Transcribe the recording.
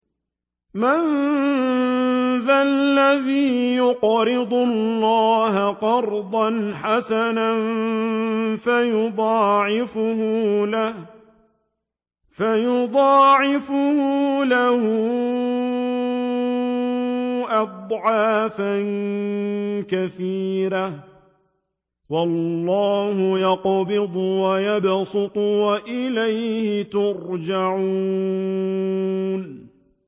مَّن ذَا الَّذِي يُقْرِضُ اللَّهَ قَرْضًا حَسَنًا فَيُضَاعِفَهُ لَهُ أَضْعَافًا كَثِيرَةً ۚ وَاللَّهُ يَقْبِضُ وَيَبْسُطُ وَإِلَيْهِ تُرْجَعُونَ